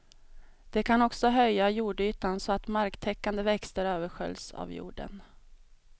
De kan också höja jordytan så att marktäckande växter översköljs av jorden.